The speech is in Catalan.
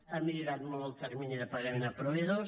ha millorat molt el termini de pagament a proveïdors